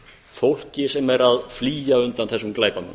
fólki sem er að flýja undan þessum glæpamönnum